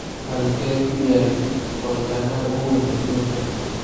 Halkee ku yaal foolkaanaha ugu weyn adduunka?